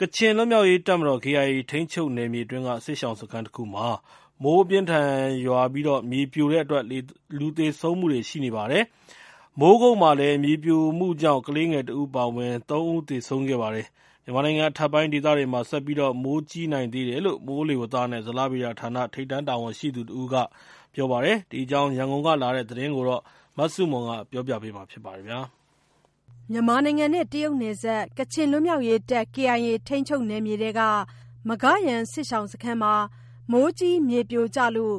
ကချင်လွတ်မြောက်ရေးတပ်မတော် (KIA) ထိန်းချုပ်နယ်မြေအတွင်းက စစ်ရှောင်စခန်းတခုမှာ မိုးအပြင်းအထန်ရွာပြီး မြေပြိုတဲ့အတွက် လူသေဆုံးမှုရှိခဲ့ပါတယ်။ မိုးကုတ်မှာလည်း မြေပြိုမှုကြောင့် ကလေးငယ်တဦးအပါအဝင် သုံးဦးသေဆုံးခဲ့ပါတယ်။ မြန်မာနိုင်ငံအထက်ပိုင်းဒေသတွေမှာ ဆက်ပြီး မိုးကြီးနိုင်သေးတယ်လို့ မိုးလေဝသနဲ့ ဇလဗေဒဌာန ထိပ်တန်းတာဝန်ရှိသူတဦးက သတိပေးပါတယ်။ ဒီအကြောင်း ရန်ကုန်ကလာတဲ့သတင်းကို မဆုမွန်ကပြောပြပါမယ်။ မြန်မာ-တရုတ်နယ်စပ် KIA ထိန်းချုပ်နယ်မြေထဲက မဂါ့ယန် စစ်ရှောင်စခန်းမှာ မိုးကြီးမြေပြိုကျလို့